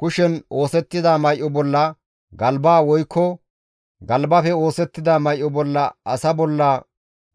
kushen oosettida may7o bolla, galba woykko galbafe oosettida may7o bolla asa bolla